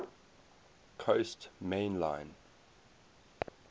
coast main line